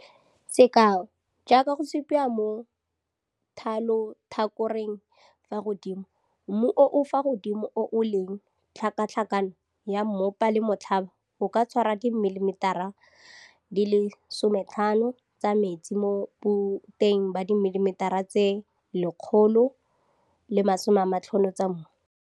Sekao, jaaka go supiwa mo thalotlhakoreng fa godimo, mmu o o fa godimo o o leng tlhakatlhakano ya mmopa le motlhaba o ka tshwara dimilimetara di le 25 tsa metsi mo boteng ba dimilimetara tse 150 tsa mmu.